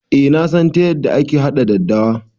Eh nasan ta yanda aka haɗa daddawa